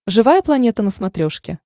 живая планета на смотрешке